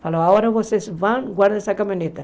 Falou, agora vocês vão guardar essa caminhonete.